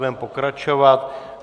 Budeme pokračovat.